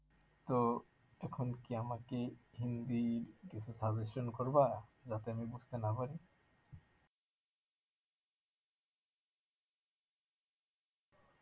তো এখন কি আমাকে হিন্দি কিছু suggestion করবা যাতে আমি বুঝতে না পারি